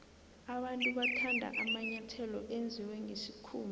abantu bathanda amanyathelo enziwe nqesikhumba